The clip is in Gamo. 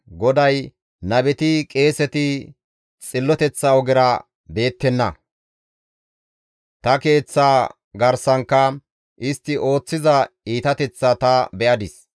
GODAY, «Nabeti, qeeseti xilloteththa ogera beettenna; ta Keeththaa garsankka istti ooththiza iitateththaa ta be7adis.